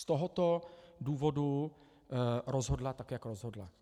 Z tohoto důvodu rozhodla tak, jak rozhodla.